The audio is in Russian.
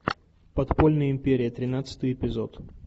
подпольная империя тринадцатый эпизод